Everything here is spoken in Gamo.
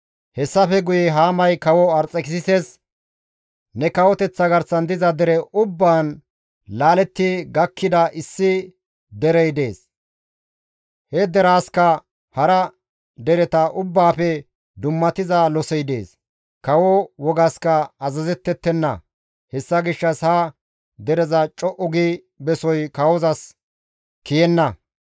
Hessafe guye Haamay Kawo Arxekisises, «Ne kawoteththa garsan diza dere ubbaan laaletti gakkida issi derey dees; he deraasikka hara dereta ubbaafe dummatiza losey dees; kawo wogaska azazettettenna; hessa gishshas ha dereza co7u gi besoy kawozas kiyenna.